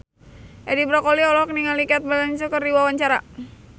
Edi Brokoli olohok ningali Cate Blanchett keur diwawancara